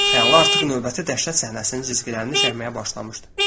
Xəyal artıq növbəti dəhşət səhnəsinin cizgilərini çəkməyə başlamışdı.